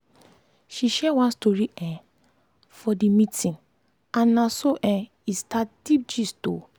she share one story um for the meeting and na so um e start deep gist. um